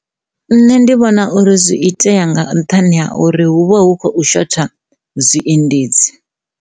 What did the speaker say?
Nṋe ndi vhona uri zwi itea nga nṱhani ha uri hu vha hu khou shotha zwiendedzi.